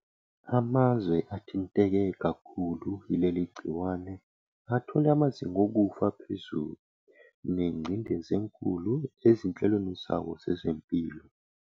Amazwe athinteke kakhulu yileli gciwane athole amazinga okufa aphezulu nengcindezi enkulu ezinhlelweni zawo zezempilo.